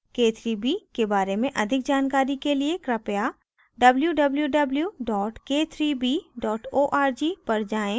k3b के बारे में अधिक जानकारी के लिए कृपया www k3b org पर जाएँ